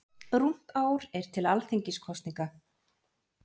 Rúmt ár er til Alþingiskosninga.